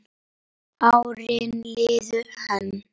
Árin liðu enn.